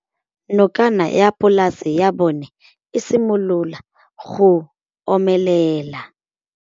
Nokana ya polase ya bona, e simolola go omelela.